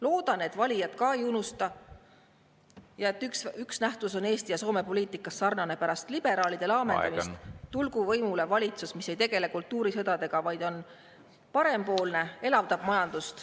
Loodan, et valijad ka ei unusta ja et üks nähtus on Eesti ja Soome poliitikas sarnane: pärast liberaalide laamendamist tulgu võimule valitsus, mis ei tegele kultuurisõjaga, vaid on parempoolne, elavdab majandust …